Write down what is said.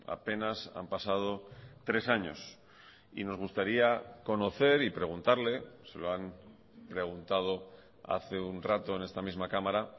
apenas han pasado tres años y nos gustaría conocer y preguntarle se lo han preguntado hace un rato en esta misma cámara